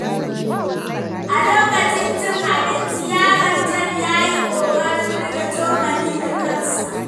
A lokacin cin abinci, yaron John ya yi ƙoƙarin riƙe cokali da kansa.